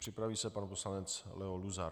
Připraví se pan poslanec Leo Luzar.